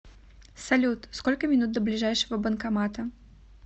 салют сколько минут до ближайшего банкомата